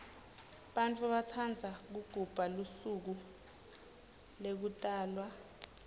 bantfu batsandza kugubha lusuko lekutalwa